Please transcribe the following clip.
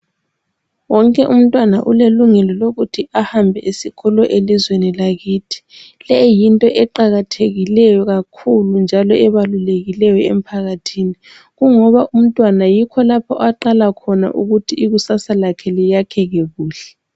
Wonke umntwana ulelungelo lokuthi ahambe esikolo elizweni lakithi. Leyi yinto eqakathekileyo kakhulu njalo ebalulekileyo emphakathini kungoba umntwana yikho lapho aqala khona ukuthi ikusasa lakhe liyakheke kuhle.